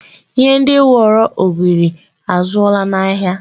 Ihe dị woro ogori azụọla n'ahịa.